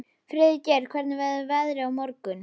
Friðgeir, hvernig verður veðrið á morgun?